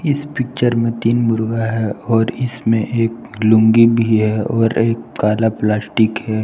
इस पिक्चर में तीन मुर्गा है और इसमें एक लूंगी भी है और एक कला प्लास्टिक है।